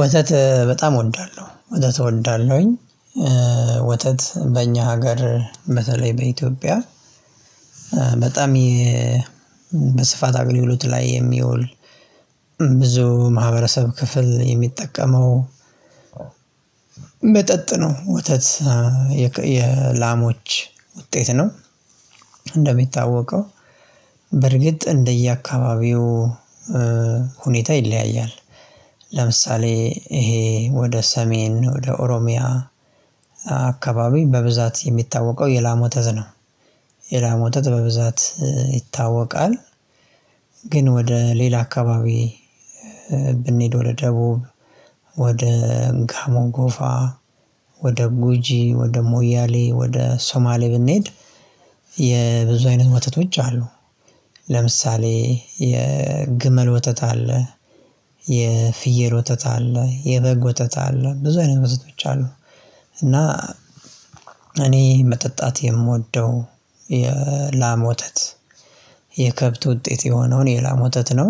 ወተት በጣም እወዳለሁ ወተት እወዳለሁኝ ወተት በእኛ ሀገር በተለይ በኢትዮጵያ በጣም በስፋት አገልግሎት ላይ የሚውል ብዙ ማህበረሰብ ክፍል የሚጠቀመው መጠጥ ነው ወተት የላሞች ውጤት ነው። እንደሚታወቀው በርግጥ እንደየአካባቢው ሁኔታ ይለያያል። ለምሳሌ ይሄ ወደ ሰሜን ወደ ኦሮሚያ አካባቢ በብዛት የሚታወቀው የላም ወተት ነው። የላም ወተት በብዛት ይታወቃል። ግን ወደ ሌላ አካባቢ ብንሄድ ወደ ደቡብ ወደ ጋሞ ጎፋ ወደ ጉጂ ወደ ሞያሌ ወደ ሶማሌ ብንሄድ የብዙ አይነት ወተቶች አሉ። ለምሳሌ የግመል ወተት አለ የፍየል ወተት አለ የበግ ወተት አለ ብዙ አይነት ወተቶች አሉ። እና እኔ መጠጣት የምወደው የላም ወተት የከብት ውጥት የሆነውን የላም ወተት ነው።